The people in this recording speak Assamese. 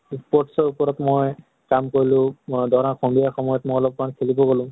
sports ৰ উপৰত মই কাম কৰিলো। মই ধৰ সন্ধিয়া সময়ত মই অলপ মান খেলিম গলো।